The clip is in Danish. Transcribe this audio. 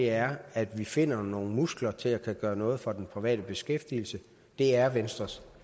er at vi finder nogle muskler til at kunne gøre noget for den private beskæftigelse det er venstres